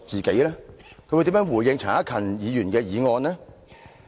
他會如何回應陳克勤議員的議案？